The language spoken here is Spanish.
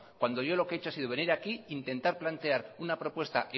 cuando yo lo que he hecho ha sido venir aquí a intentar plantear una propuesta